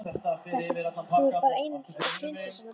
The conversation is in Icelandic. Þú ert bara eins og prinsessan á bauninni!